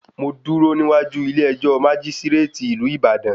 Mo dúró níwájú ilé ẹjọ́ májísíréètì ìlú Ìbàdàn.